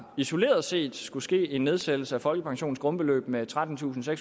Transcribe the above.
isoleret set skulle ske en nedsættelse af folkepensionens grundbeløb med trettentusinde og